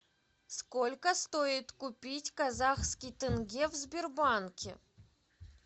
сколько стоит купить казахский тенге в сбербанке